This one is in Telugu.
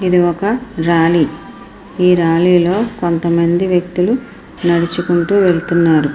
ఇది ఒక ర్యాలీ . ఈ ర్యాలీ లో కొంతమంది వ్యక్తులు నడుచుకుంటూ వెళుతున్నారు.